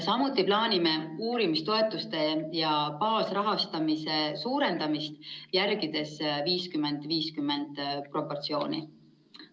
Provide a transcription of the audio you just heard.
Samuti plaanime uurimistoetuste ja baasrahastamise suurendamist, järgides proportsiooni 50 : 50.